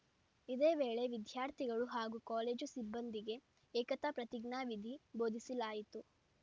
ಇದೇ ವೇಳೆ ವಿದ್ಯಾರ್ಥಿಗಳು ಹಾಗೂ ಕಾಲೇಜು ಸಿಬ್ಬಂದಿಗೆ ಏಕತಾ ಪ್ರತಿಜ್ಞಾವಿಧಿ ಭೋಧಿಸಲಾಯಿತು